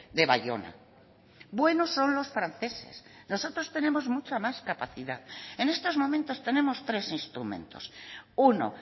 de bayona buenos son los franceses nosotros tenemos mucha más capacidad en estos momentos tenemos tres instrumentos uno